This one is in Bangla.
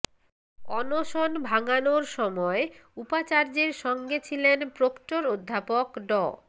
অনশন ভাঙানোর সময় উপাচার্যের সঙ্গে ছিলেন প্রক্টর অধ্যাপক ড